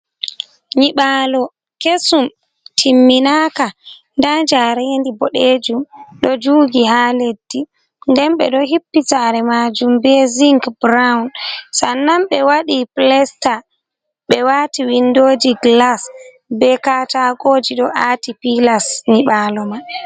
Nyiɓalo kesum timminaka, nda jarendi boɗejum ɗo jugi ha leddi, den ɓe ɗo hippi sare majum be zing brown, sannan ɓe waɗi plesta ɓe wati windoji glas, be katagoji ɗo aati pilas nyiɓalo man.